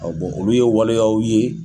olu ye waleyaw ye.